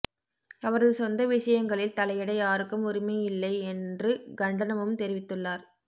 அவரது சொந்த விஷயங்களில் தலையிட யாருக்கும் உரிமையில்லை என்று கண்டனமும் தெரிவித்துள்ளார்